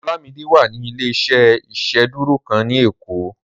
Olamide wà ní ilé-iṣẹ́ ìsedúró kan ni ekó